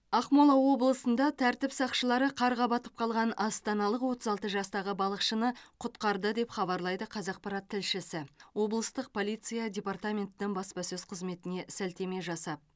ақмола облысында тәртіп сақшылары қарға батып қалған астаналық отыз алты жастағы балықшыны құтқарды деп хабарлайды қазақпарат тілшісі облыстық полиция департаментінің баспасөз қызметіне сілтеме жасап